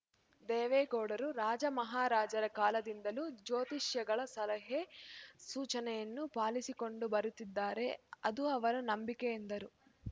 ದೇವೇಗೌಡರು ರಾಜಮಹಾರಾಜರ ಕಾಲದಿಂದಲೂ ಜ್ಯೋತಿಷಿಗಳ ಸಲಹೆಸೂಚನೆಯನ್ನು ಪಾಲಿಸಿಕೊಂಡು ಬರುತ್ತಿದ್ದಾರೆ ಅದು ಅವರ ನಂಬಿಕೆ ಎಂದರು